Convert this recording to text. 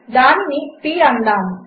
దానిని p అందాము